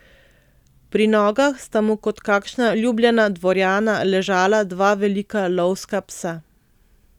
Pri nogah sta mu kot kakšna ljubljena dvorjana ležala dva velika lovska psa.